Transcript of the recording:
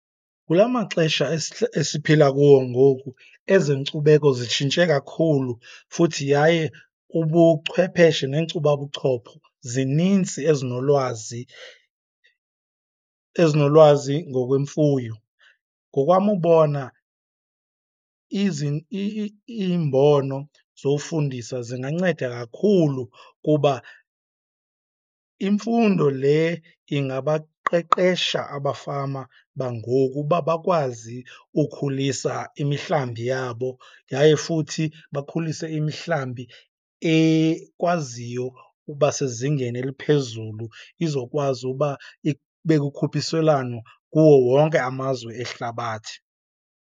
Kula maxesha esiphila kuwo ngoku ezenkcubeko zitshintshe kakhulu futhi yaye ubuchwepheshe neenkcubabuchopho zininzi ezinolwazi, ezinolwazi ngokwemfuyo. Ngokwam ubona iimbono zofundisa zinganceda kakhulu kuba imfundo le ingabaqeqesha abafama bangoku uba bakwazi ukhulisa imihlambi yabo, yaye futhi bakhulise imihlambi ekwaziyo uba sezingeni eliphezulu izokwazi uba ibe kukhuphiswelano kuwo wonke amazwe ehlabathi.